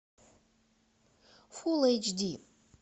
фул эйч ди